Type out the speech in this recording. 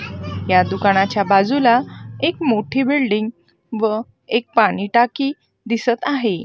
या दुकानाच्या बाजूला एक मोठी बिल्डिंग व एक पाणी टाकी दिसतं आहे.